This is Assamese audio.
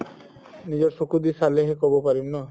নিজৰ চকু দি চালে হে ক'ব পাৰিম ন